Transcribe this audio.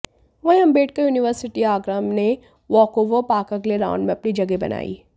वहीं आम्बेडकर यूनिवर्सिटी आगरा ने वॉकओवर पाकर अगले राउंड में अपनी जगह बनाई